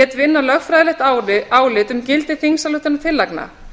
lét vinna lögfræðilegt álit um gildi þingsályktunartillagna